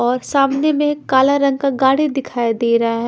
और सामने में काला रंग का गाड़ी दिखाई दे रहा है।